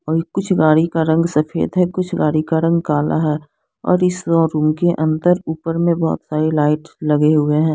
और कुछ गाड़ी का रंग सफेद है कुछ गाड़ी का रंग काला है और इस स्टोर रूम के अंदर ऊपर मे बहुत सारे लाइट्स लगे हुए है।